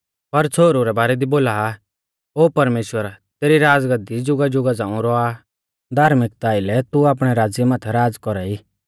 पर छ़ोहरु रै बारै दी बोला आ ओ परमेश्‍वर तेरी राज़गाद्दी जुगाजुगा झ़ांऊ रौआ आ धार्मिकता आइलै तू आपणै राज़्य माथै राज़ कौरा ई